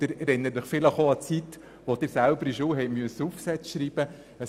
Sie erinnern sich vielleicht auch an die Zeit, als Sie in der Schule Aufsätze schreiben mussten.